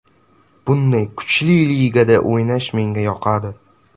Bunday kuchli ligada o‘ynash menga yoqadi.